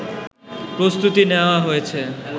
প্রস্তুতি নেওয়া হয়েছে